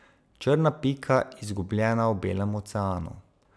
Črna pika, izgubljena v belem oceanu.